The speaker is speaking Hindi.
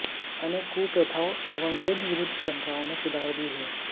अनेक कुप्रथाओं एवं वेदविरुद्ध परम्पराओं में सुधार भी हुए